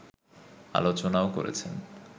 আলোচনাও করেছেন